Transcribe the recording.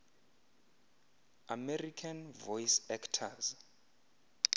american voice actors